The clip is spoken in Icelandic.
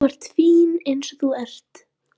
Þú ert fín eins og þú ert.